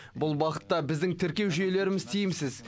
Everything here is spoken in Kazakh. бұл бағытта біздің тіркеу жүйелеріміз тиімсіз